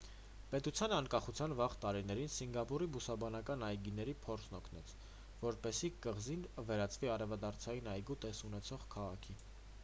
պետության անկախության վաղ տարիներին սինգապուրի բուսաբանական այգիների փորձն օգնեց որպեսզի կղզին վերածվի արևադարձային այգու տեսք ունեցող քաղաքի